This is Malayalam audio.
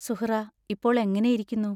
സുഹ്റാ, ഇപ്പോൾ എങ്ങനെയിരിക്കുന്നു?